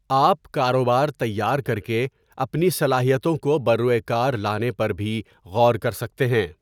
آپ کاروبار تیار کر کے اپنی صلاحیتوں کو بروۓکار لانے پر بھی غور کر سکتے ہیں۔